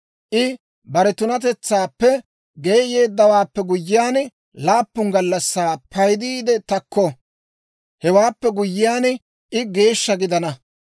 I bare tunatetsaappe geeyeeddawaappe guyyiyaan, laappun gallassaa paydiide takko. Hewaappe guyyiyaan, I geeshsha gidana.